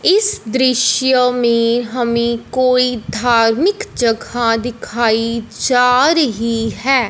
इस दृश्य में हमें कोई धार्मिक जगह दिखाई जा रही है।